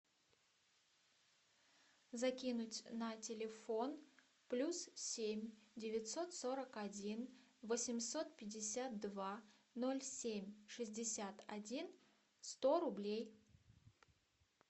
закинуть на телефон плюс семь девятьсот сорок один восемьсот пятьдесят два ноль семь шестьдесят один сто рублей